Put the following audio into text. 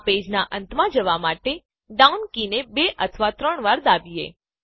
આ પેજનાં અંતમાં જવા માટે ડાઉન કી ને બે અથવા ત્રણ વાર દાબીએ